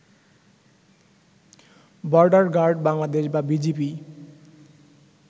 border guard Bangladesh বা BGB